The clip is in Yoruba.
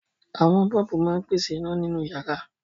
Àwọn bọ́ọ́bù máa ń pèsè iná nínú ìyàrá.